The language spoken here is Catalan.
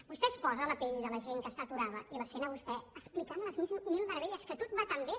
vostè es posa a la pell de la gent que està aturada i la sent a vostè explicant les mil meravelles que tot va tan bé